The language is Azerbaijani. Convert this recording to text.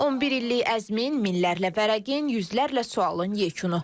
11 illik əzmin, minlərlə vərəqin, yüzlərlə sualın yekunu.